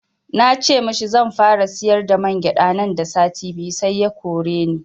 Na ce mashi zanfara siyar da mangyaɗa nan da sati biyu sai ya koreni